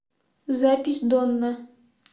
запись донна